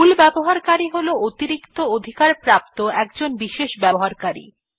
মূল ব্যবহারকারী হল অতিরিক্ত অধিকার প্রাপ্ত একজন বিশেষ ব্যক্তি